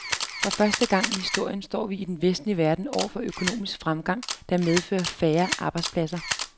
For første gang i historien står vi i den vestlige verden over for en økonomisk fremgang, der medfører færre arbejdspladser.